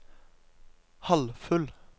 halvfull